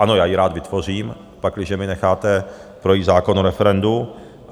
Ano, já ji rád vytvořím, pakliže mi necháte projít zákon o referendu.